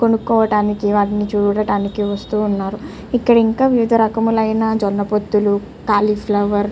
కొనుక్కోవడానికి వాటిని చూడానికి వస్తూ ఉన్నారు ఇక్కడ ఇంకా వివిధ రకాములైన జొన్న పొత్తులు కాలీఫ్లవర్ .